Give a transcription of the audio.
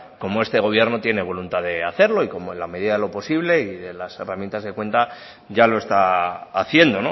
como este gobierno tiene voluntad de hacerlo y como en la medida de lo posible y de las herramientas que cuenta ya lo está haciendo